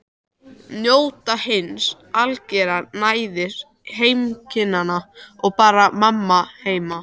Njóta hins algera næðis heimkynnanna og bara mamma heima.